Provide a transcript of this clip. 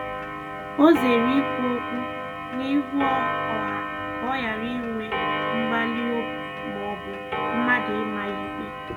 O zere ikwu okwu n'ihu ọha ka ọ ghara inwe mgbali maọbụ mmadụ ịma ya ikpe